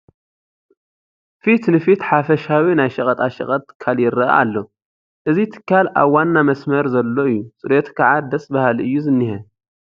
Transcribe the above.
ፊት ትፊት ሓፈሻዊ ናይ ሸቐጣ ሸቐጥ ትካል ይርአ ኣሎ፡፡ እዚ ትካል ኣብ ዋና መስመር ዘሎ እዩ፡፡ ፅሬቱ ከዓ ደስ በሃሊ እዩ ዝኔሀ፡፡